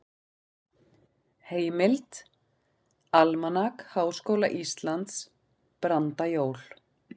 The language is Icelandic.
Heimild: Almanak Háskóla Íslands- Brandajól.